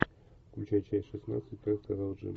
включай часть шестнадцать как сказал джим